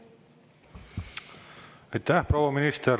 Aitäh, proua minister!